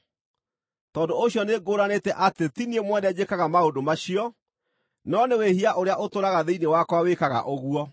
Tondũ ũcio nĩngũũranĩte atĩ ti niĩ mwene njĩkaga maũndũ macio, no nĩ wĩhia ũrĩa ũtũũraga thĩinĩ wakwa wĩkaga ũguo.